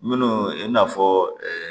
Minnu i n'a fɔ